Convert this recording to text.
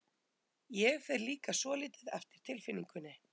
Ég fer líka svolítið eftir tilfinningunni.